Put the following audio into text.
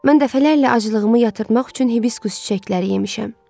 Mən dəfələrlə acılığımı yatırtmaq üçün Hibiskus çiçəkləri yemişəm.